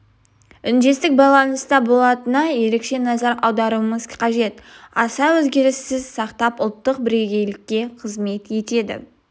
үндестік байланыста болатынына ерекше назар аударуымыз қажет аса өзгеріссіз сақтап ұлттық бірегейлікке қызмет етеді